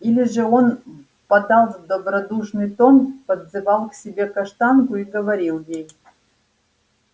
или же он впадал в добродушный тон подзывал к себе каштанку и говорил ей